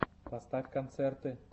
поставь концерты